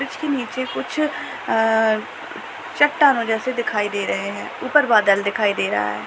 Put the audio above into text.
इसके नीचे कुछ अ चट्टानो जैसी दिखाई दे रहे हैं। ऊपर बादल दिखाई दे रहा है।